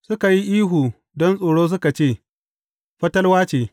Suka yi ihu don tsoro suka ce, Fatalwa ce.